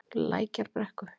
Lækjarbrekku